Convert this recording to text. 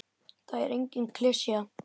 Það er engin klisja.